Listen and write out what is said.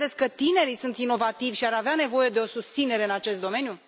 Nu credeți că tinerii sunt inovativi și ar avea nevoie de o susținere în acest domeniu?